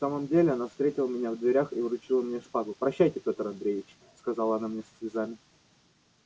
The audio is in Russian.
в самом деле она встретила меня в дверях и вручила мне шпагу прощайте пётр андреич сказала она мне со слезами